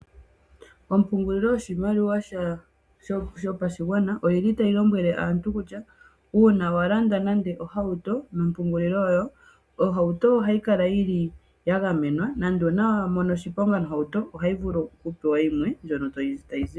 Ompungililo yoshimaliwa shopashigwana oyili tayi lombwele aantu kutya uuna walanda nande ohauto nompungulilo ohauto ohayi kala ya gamenwa nande uuna wamono oshiponga nohauto ohovulu oku pewa yimwe ndjono tayi zipo.